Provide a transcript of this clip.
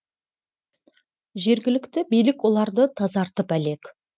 жергілікті билік оларды тазартып әлек